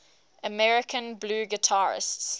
american blues guitarists